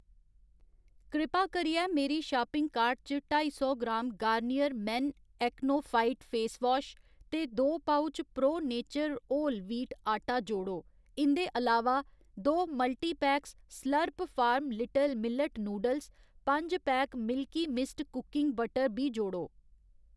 कृपा करियै मेरी शापिंग कार्ट च ढाई सौ gram Garnier men acno fight facewash ते दो pouch pro nature whole wheat atta जोड़ो। इं'दे अलावा, दो multipacks slurp farm little millet noodles, पंज pack milky mist cooking butter बी जोड़ो।